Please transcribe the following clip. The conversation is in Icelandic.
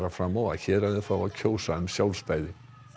fram á að héraðið fái að kjósa um sjálfstæði